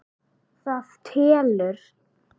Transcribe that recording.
Það telur.